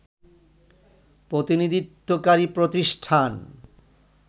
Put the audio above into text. প্রতিনিধিত্বকারী প্রতিষ্ঠান